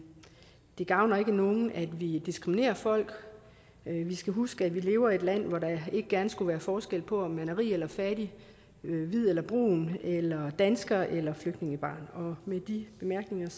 det gavner ikke nogen at vi diskriminerer folk vi skal huske at vi lever i et land hvor der ikke gerne skulle være forskel på om man er rig eller fattig hvid eller brun dansker eller flygtningebarn med de bemærkninger